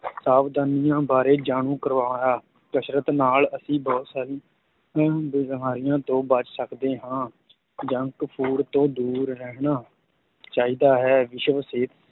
ਸਾਵਧਾਨੀਆਂ ਬਾਰੇ ਜਾਣੂ ਕਰਵਾਇਆ, ਕਸਰਤ ਨਾਲ ਅਸੀਂ ਬਹੁਤ ਸਾਰੀਆਂ ਬਿਮਾਰੀਆਂ ਤੋਂ ਬਚ ਸਕਦੇ ਹਾਂ junk food ਤੋਂ ਦੂਰ ਰਹਿਣਾ ਚਾਹੀਦਾ ਹੈ ਵਿਸ਼ਵ ਸਿਹਤ